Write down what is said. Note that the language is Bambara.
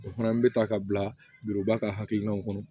O fana bɛ ta ka bila ba ka hakilinaw kɔnɔ